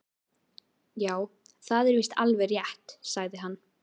Já, það er víst alveg rétt sagði hann.